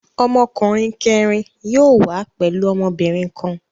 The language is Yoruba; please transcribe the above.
Ọmọkùnrin kẹ̀rin yóò wá pẹ̀lú ọmọbìnrin kan.